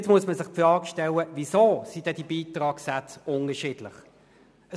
Man muss sich die Frage stellen, weshalb die Beitragssätze unterschiedlich sind.